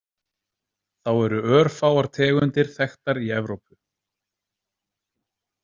Þá eru örfáar tegundir þekktar í Evrópu.